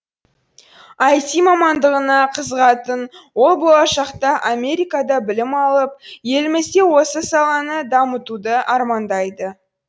іт мамандығына қызығатын ол болашақта америкада білім алып елімізде осы саланы дамытуды армандайды